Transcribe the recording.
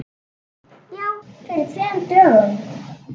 Já, fyrir tveim dögum.